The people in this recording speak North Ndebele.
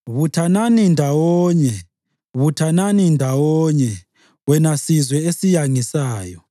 Buthanani ndawonye, buthanani ndawonye, wena sizwe esiyangisayo,